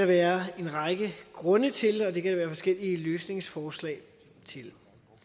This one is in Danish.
være en række grunde til og der kan være forskellige løsningsforslag til det